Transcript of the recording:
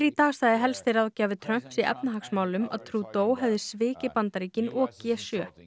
í dag sagði helsti ráðgjafi Trumps í efnahagsmálum að Trudeau hefði svikið Bandaríkin og g sjö